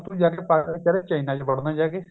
ਹੁਣ ਤੂੰ ਜਾਕੇ ਚਾਈਨਾਂ ਵਿੱਚ ਵੜਨਾ ਜਾਕੇ